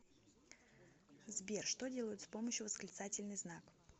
сбер что делают с помощью восклицательный знак